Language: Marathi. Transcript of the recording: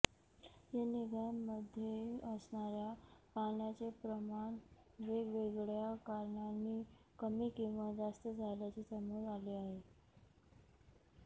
या नद्यांमध्ये असणाऱ्या पाण्याचे प्रमाण वेगवेगळ्या कारणांनी कमी किंवा जास्त झाल्याचे समोर आले आहे